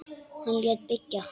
Hann lét byggja